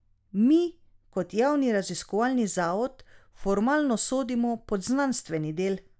Mi kot javni raziskovalni zavod formalno sodimo pod znanstveni del.